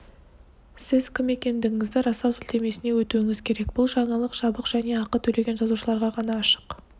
сіз кім екендігіңізді растау сілтемесіне өтуіңіз керек бұл жаңалық жабық және ақы төлеген жазылушыларға ғана ашық